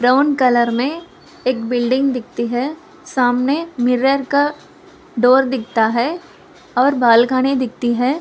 Brown colour में एक building दिखती है सामने मिरर का डोर दिखता है और बालकनी दिखती है।